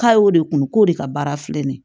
K'a y'o de kun k'o de ka baara filɛ nin ye